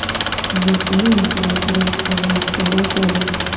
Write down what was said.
Yaponiya imperatori sog‘ayishni boshladi.